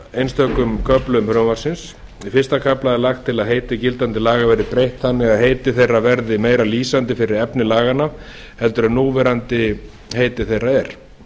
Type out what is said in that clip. einstökum köflum frumvarpsins í fyrsta kafla er lagt til að heiti gildandi laga verði breytt þannig að heiti þeirra verði meira lýsandi fyrir efni laganna en núverandi heiti þeirra er